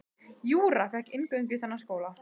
Júra fékk inngöngu í þennan skóla.